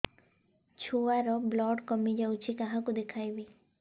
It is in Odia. ଛୁଆ ର ବ୍ଲଡ଼ କମି ଯାଉଛି କାହାକୁ ଦେଖେଇବି